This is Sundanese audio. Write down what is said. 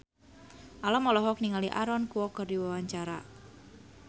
Alam olohok ningali Aaron Kwok keur diwawancara